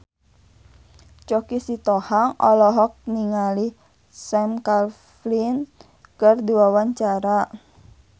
Choky Sitohang olohok ningali Sam Claflin keur diwawancara